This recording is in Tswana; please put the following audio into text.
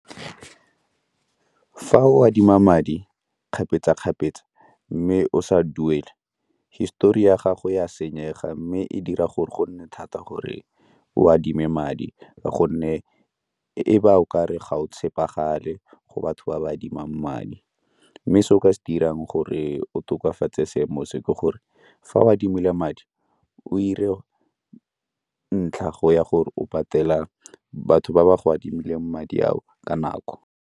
Fa o adima madi kgapetsa-kgapetsa mme o sa duele, histori ya gago ya senyega mme e dira gore go nne thata gore o adime madi ka gonne e ba o kare ga o tshepagale go batho ba ba adimang madi. Mme se o ka se dirang gore o tokafatse seemo se ke gore fa o adimile madi o ire ntlha go ya gore o patela batho ba ba go adimileng madi a o ka nako.